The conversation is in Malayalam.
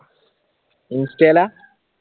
ഇൻസ്റ്റയിലാ?